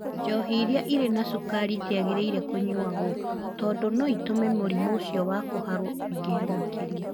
Njohi iria irĩ na cukari itiagĩrĩire kũnyuagwo, tondũ no itũme mũrimũ ũcio wa kũharwo ũingĩhe makĩria.